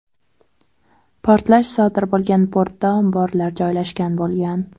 Portlash sodir bo‘lgan portda omborlar joylashgan bo‘lgan .